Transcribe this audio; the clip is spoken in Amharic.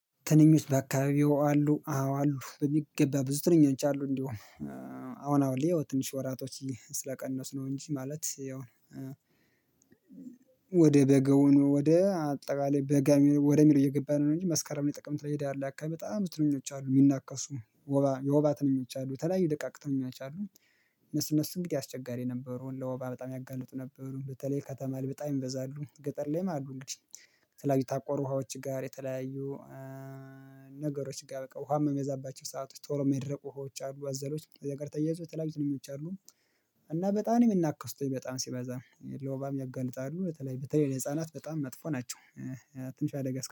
ትንኞች በአካባቢው አሉ አዎ አሉ በሚገባ ብዙ ትንኞች አሉ እንዲሁ። አሁን አሁን ላይ ያው ትንሽ ወራቶች ስለቀነሱ ነው እንጂ ማለት ያው። ወደ በጋውኑ ወደ አጠቃላይ በጋ ወደሚለው እየገባን ነው እንጂ መስከረም ጥቅምት ላይ ህዳር ላይ አካባቢ በጣም ትንኞች አሉ እሚናከሱ ወባ የወባ ትንኞች አሉ የተለያዩ ደቃቅ ትንኞች አሉ። እነሱ እነሱ እንግዲህ አስቸጋሪ ነበሩ ለወባ በጣም ያጋልጡ ነበር በተለይ ከተማ ላይ በጣም ይበዛሉ ገጠር ላይም አሉ። እንግዲህ የተለያዩ የታቆሩ ውሃዎች ጋር የተለያዩ ነገሮች ጋር በቃ ውሃም እሚበዛባቸው ሰአቶች ቶሎ እማይደርቁ ውሃዎች አሉ አዘሎች ነገር ተያይዞ ተላቢ ትንኞች አሉ። እና በጣም ነው የሚናከሱት በጣም ሲበዛ ለወባም ያጋልጣሉ በተለይ በተለይ ለህፃናት በጣም መጥፎ ናቸው። ትንሽ አደጋ